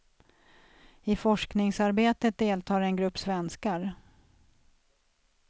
I forskningsarbetet deltar en grupp svenskar.